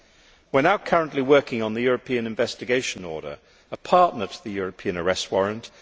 We are now currently working on the European Investigation Order, a partner to the European Arrest Warrant.